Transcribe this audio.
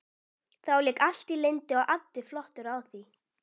Þá lék allt í lyndi og addi flottur á því.